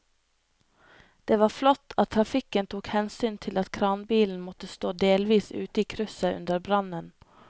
Det var flott at trafikken tok hensyn til at kranbilen måtte stå delvis ute i krysset under brannen.